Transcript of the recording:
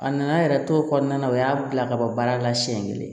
A nana yɛrɛ t'o kɔnɔna na o y'a bila ka bɔ baara la siyɛn kelen